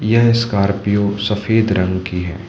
यह स्कॉर्पियो सफेद रंग की है।